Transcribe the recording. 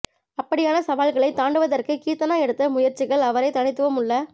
அப்படியான சவால்களை தாண்டுவதற்கு கீர்த்தனா எடுத்த முயற்சிகள் அவரை தனித்துவம் உள்ள